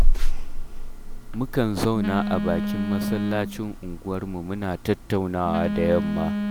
Mukan zauna a bakin masallacin unguwarmu muna tattaunawa da yamma